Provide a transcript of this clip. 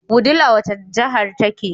Wudil a wace jahar take